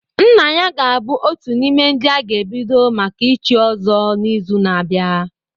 Nna ya ga-abụ otu n'ime ndị a ga-ebido maka ichi Ozo n'izu na-abịa.